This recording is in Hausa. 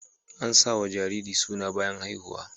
Ana sawa jariri suna bayan haihuw